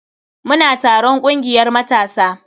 Muna taron kungiyar matasa.